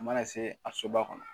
Mana se a soba kɔnɔ